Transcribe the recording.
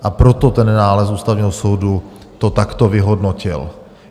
A proto ten nález Ústavního soudu to takto vyhodnotil.